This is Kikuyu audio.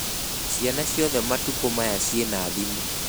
Ciana ciothe matukũ maya ciĩna thimũ.